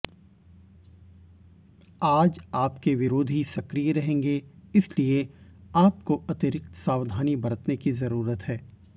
आज आपके विरोधी सक्रिय रहेंगे इसलिए आपको अतिरिक्त सावधानी बरतने की जरूरत है